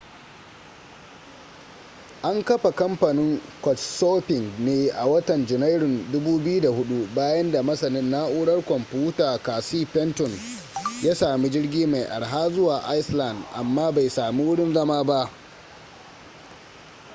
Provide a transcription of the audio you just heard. an kafa kamfanin couchsurfing ne a watan janairun 2004 bayan da masanin na'urar kwamfuta casey fenton ya sami jirgi mai arha zuwa iceland amma bai sami wurin zama ba